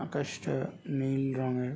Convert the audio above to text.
আকাশ তা নীল রং এর।